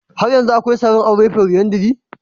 Har yanzu akwai sarin aure folyandry?